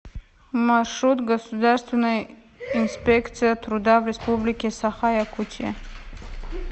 маршрут государственная инспекция труда в республике саха якутия